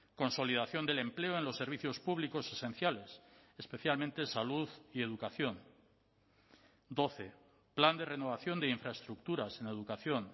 consolidación del empleo en los servicios públicos esenciales especialmente salud y educación doce plan de renovación de infraestructuras en educación